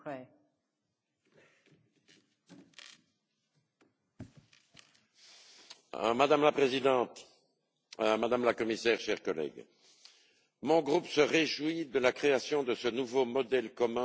Madame la Présidente, Madame la Commissaire, chers collègues, mon groupe se réjouit de la création de ce nouveau modèle commun de visa pour les ressortissants de pays tiers et félicite notre rapporteure pour la qualité de son travail.